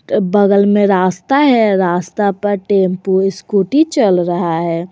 बगल में रास्ता है रास्ता पर टेम्पु स्कूटी चल रहा है।